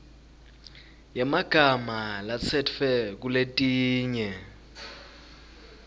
yemagama latsetfwe kuletinye